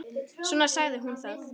Svona sagði hún það.